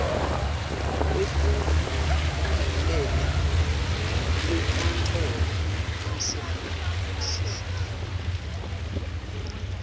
wekucombelela wenkantolo yemtsetfosisekelo